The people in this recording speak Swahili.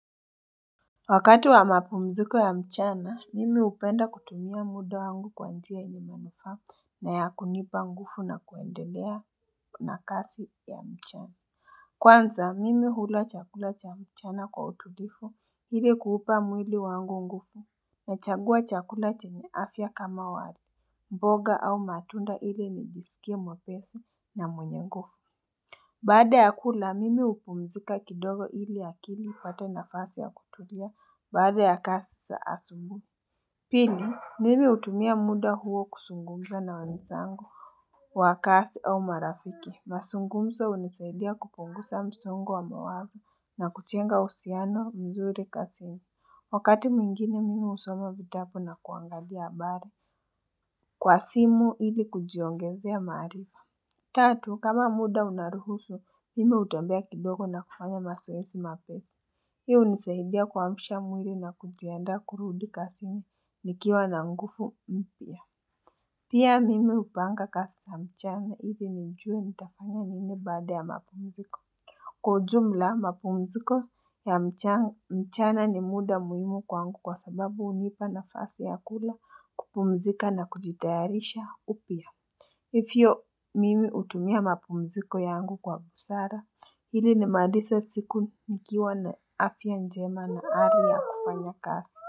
Wakati wa mapumziko ya mchana, mimi hupenda kutumia muda wangu kwa njia yenye manufaa na ya kunipa nguvu na kuendelea na kazi ya mchana. Kwanza, mimi hula chakula cha mchana kwa utulivu ili kuuupa mwili wangu nguvu nachagua chakula chenya afya kama wali. Mboga au matunda ili nijisikie mwepesi na mwenye nguvu. Baada ya kula mimi hupumzika kidogo ili akili ipate nafasi ya kutulia baada ya kazi za asubuhi Pili mimi hutumia muda huo kuzungumza na wenzangu wa kazi au marafiki mazungumzo hunisaidia kupunguza msongo wa mawazo na kujenga uhusiano mzuri kazini Wakati mwingine mimi husoma vitabu na kuangalia mbali Kwa simu ili kujiongezea maarifa Tatu, kama muda unaruhusu, mimi hutambea kidogo na kufanya mazoezi mapesi. Hii hunisahidia kuamsha mwili na kujiandaa kurudi kazini, nikiwa na nguvu mpya. Pia mimi hupanga kazi ya mchana, ili nijue nitafanya nini baada ya mapumziko. Kwa ujumla, mapumziko ya mchana ni muda muhimu kwangu kwa sababu hunipa nafasi ya kula kupumzika na kujitayarisha upya. Hivyo mimi hutumia mapumziko yangu kwa busara. Ili ni malize siku nikiwa na afya njema na hali ya kufanya kazi.